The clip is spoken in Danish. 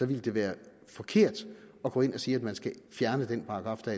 ville være forkert at gå ind og sige at man skal fjerne den paragraf der